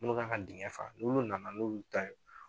Munnu kan ka dɛngɛ fa n'olu nana n'o y'u ta ye.